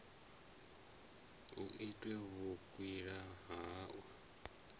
hu itwe vhukwila ha u